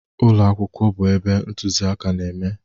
Ụlọ akwụkwọ bụ ebe ntụziaka na-eme.